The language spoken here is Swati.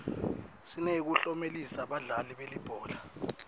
sineyekuklomelisa badlali belibhola